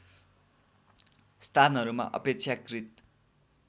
स्थानहरूमा अपेक्षाकृत